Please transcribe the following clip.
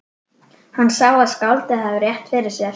Hann sá að skáldið hafði rétt fyrir sér.